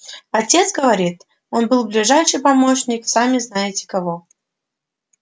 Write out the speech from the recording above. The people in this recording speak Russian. отец говорит он был ближайший помощник сами-знаете-кого